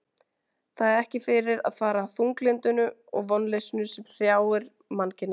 Það er ekki fyrir að fara þunglyndinu og vonleysinu sem hrjáir mannkynið.